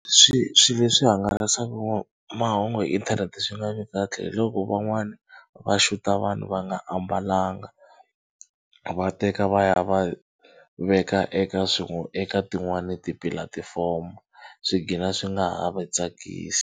Swi swi leswi hangalasaka mahungu hi inthanete swi nga vi kahle hiloko van'wana va xuta vanhu va nga ambalanga va teka va ya va veka eka eka tin'wani tipulatfomo swi gcina swi nga ha va tsakisi.